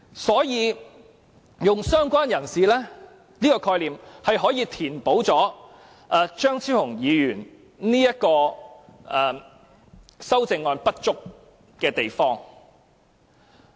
所以，"相關人士"的概念可填補張超雄議員的修正案的不足之處。